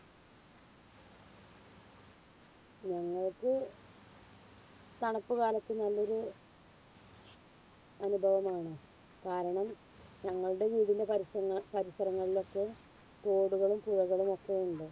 ഞങ്ങക്ക് തണുപ്പ് കാലത്തു നല്ലൊരു അനുഭവമാണ്. കാരണം ഞങ്ങളുടെ വീടിന്റെ പരിസര പരിസരങ്ങളിലൊക്കെ തോടുകളും പുഴകളുമൊക്കെ ഉണ്ട്.